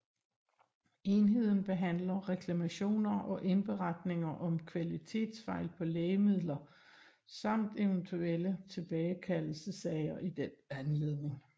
Enheden behandler reklamationer og indberetninger om kvalitetsfejl på lægemidler samt eventuelle tilbagekaldelsessager i den anledning